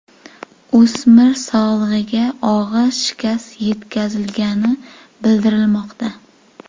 O‘smir sog‘ligiga og‘ir shikast yetkazilgani bildirilmoqda.